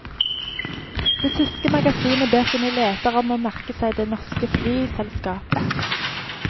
Det tyske magasinet ber sine lesere om å merke seg det norske flyselskapet.